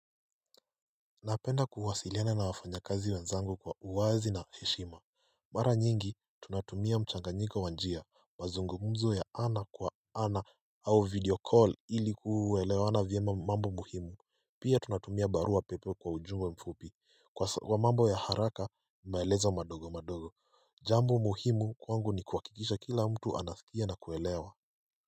Napenda kuwasiliana na wafanyakazi wenzangu kwa uwazi na heshima Mara nyingi tunatumia mchanganyiko wa njia, mazungumzo ya ana kwa ana au video call ili kuelewaana vyema mambo muhimu Pia tunatumia barua pepe kwa ujuu au ufupi kwa mambo ya haraka maelezo madogo madogo Jambo muhimu kwangu ni kuhakikisha kila mtu anasikia na kuelewa.